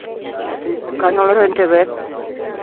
канал рен тв